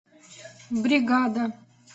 бригада